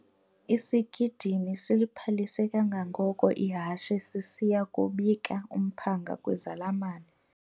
Isigidimi siliphalise kangangoko ihashe sisiya kubika umphanga kwizalamane.